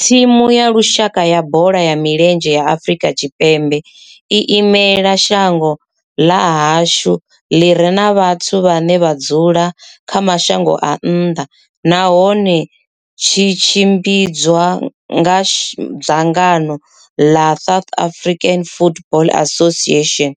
Thimu ya lushaka ya bola ya milenzhe ya Afrika Tshipembe i imela shango ḽa hashu ḽi re na vhathu vhane vha dzula kha mashango a nnḓa nahone tshi tshimbidzwa nga dzangano la South African Football Association,